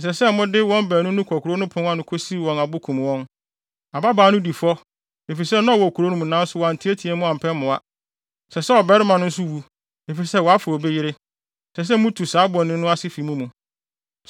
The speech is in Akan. ɛsɛ sɛ mode wɔn baanu no kɔ kurow no apon ano kosiw wɔn abo kum wɔn. Ababaa no di fɔ, efisɛ na ɔwɔ kurom nanso wanteɛteɛ mu ampɛ mmoa. Ɛsɛ sɛ ɔbarima no nso wu, efisɛ wafa obi yere. Ɛsɛ sɛ mutu saa bɔne no ase fi mo mu.